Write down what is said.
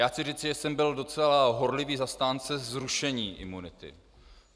Já chci říci, že jsem byl docela horlivý zastánce zrušení imunity.